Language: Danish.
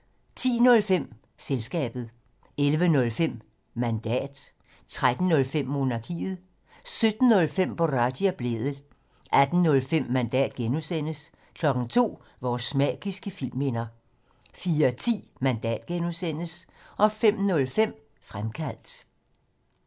10:05: Selskabet 11:05: Mandat 13:05: Monarkiet 17:05: Boraghi og Blædel 18:05: Mandat (G) 02:00: Vores magiske filmminder 04:10: Mandat (G) 05:05: Fremkaldt